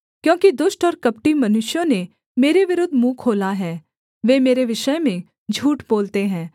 क्योंकि दुष्ट और कपटी मनुष्यों ने मेरे विरुद्ध मुँह खोला है वे मेरे विषय में झूठ बोलते हैं